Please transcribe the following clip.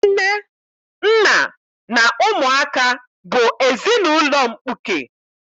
Nne, nna na ụmụaka bụ ezinaụlọ mkpuke